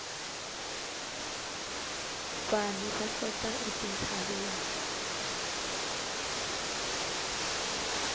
vanhu va hlota etintshaveni